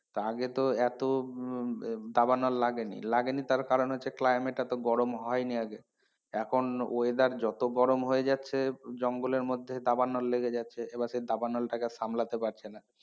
তা আগে তো এত আহ দাবালন লাগেনি, লাগেনি তার কারণ হচ্ছে climate এত গরম হয়নি আগে তো এখন weather যত গরম হয়ে যাচ্ছে জঙ্গলের মধ্যে দাবানল লেগে যাচ্ছে এবার সে দাবানল টাকে সামলাতে পারছে না।